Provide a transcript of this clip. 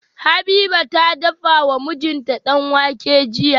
Habiba ta dafa wa mijinta danwake jiya.